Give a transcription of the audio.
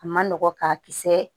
A ma nɔgɔn k'a kisɛ